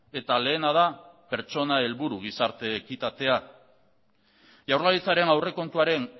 eta lehena da pertsona helburu gizarte ekitatea jaurlaritzaren aurrekontuaren